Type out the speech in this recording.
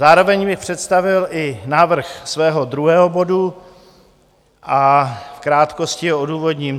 Zároveň bych představil i návrh svého druhého bodu a v krátkosti ho odůvodním.